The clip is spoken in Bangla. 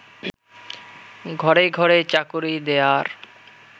ঘরে ঘরে চাকুরী দেয়ার